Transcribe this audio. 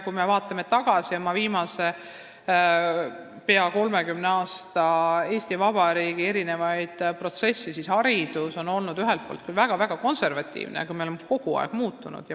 Kui me vaatame tagasi, viimase peaaegu 30 aasta jooksul Eesti Vabariigis toimunud protsessidele, siis näeme, et haridus on olnud ühelt poolt küll väga-väga konservatiivne, aga me oleme ka kogu aeg muutunud.